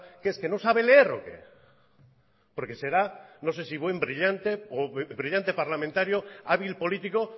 qué es que no sabe leer o qué porque será no sé si buen brillante o brillante parlamentario hábil político